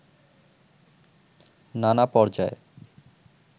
নানা পর্যায়